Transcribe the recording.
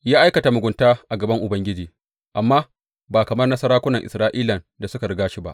Ya aikata mugunta a gaban Ubangiji, amma ba kamar na sarakunan Isra’ilan da suka riga shi ba.